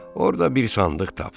Orada bir sandıq tapdım.